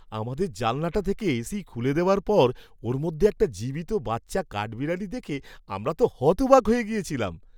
আমাদের জানালাটা থেকে এসি খুলে দেওয়ার পর ওর মধ্যে একটা জীবিত বাচ্চা কাঠবিড়ালি দেখে আমরা হতবাক হয়ে গেছিলাম!